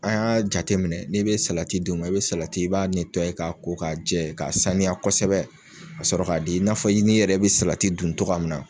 An y'a jate minɛ n'i bɛ salati d'o ma i bɛ salati i b'a ka ko ka jɛ ka saniya kosɛbɛ ka sɔrɔ k'a di i n'a fɔ ni i yɛrɛ bɛ salati dun cogoya min na.